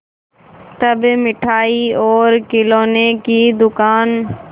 तब मिठाई और खिलौने की दुकान